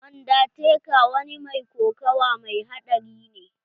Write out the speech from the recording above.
Undertaker wa ni mai kokawa mai haɗari ne.